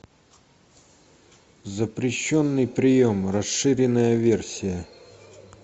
запрещенный прием расширенная версия